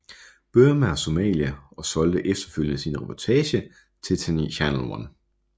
Burma og Somalia og solgte efterfølgende sin reportage til Channel One